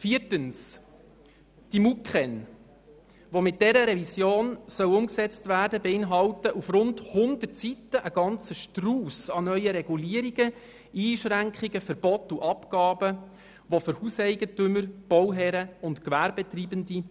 Viertens beinhalten die MuKEn, die mit der Revision umgesetzt werden sollen, auf rund 100 Seiten einen ganzen Strauss von neuen Regulierungen, Einschränkungen, Verboten und Abgaben, die für Hauseigentümer, Bauherren und Gewerbetreibende